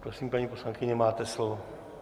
Prosím, paní poslankyně, máte slovo.